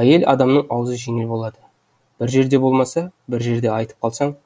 әйел адамның аузы жеңіл болады бір жерде болмаса бір жерде айтып қалсаң